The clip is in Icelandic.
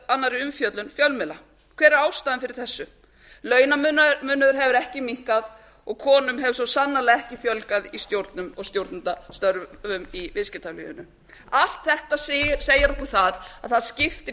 annarri umfjöllun fjölmiðla hver er ástæðan fyrir þessu launamunurinn hefur ekki minnkað og konum hefur svo sannarlega ekki fjölgað í stjórnum og stjórnendastörfum í viðskiptalífinu allt þetta segir okkur það að